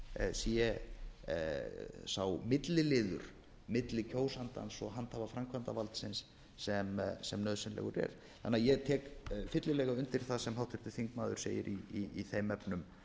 sé sá milliliður milli kjósandans og handhafa framkvæmdarvaldsins sem nauðsynlegur er þannig að ég tek fyllilega undir það sem háttvirtur þingmaður segir í þeim efnum